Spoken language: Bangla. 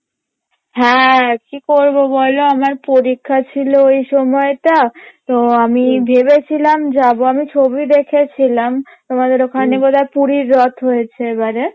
হ্যাঁ কি করবো বলো আমার পরীক্ষা ছিলো ওই সময়টা তো আমি ভেবেছিলাম যাবো আমি ছবি দেখেছিলাম তোমাদের ওখানে বোধহয় পুরীর রথ হয়েছে এবারে